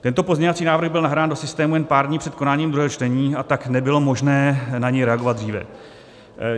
Tento pozměňovací návrh byl nahrán do systému jen pár dní před konáním druhého čtení, a tak nebylo možné na něj reagovat dříve.